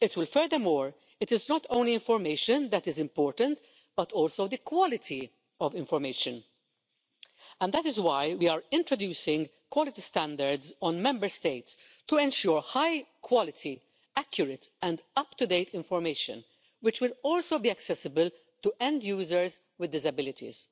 Furthermore, it is not only information that is important, but also the quality of information, and that is why we are introducing quality standards in Member States to ensure high quality, accurate and up to date information, which will also be accessible to end users with disabilities.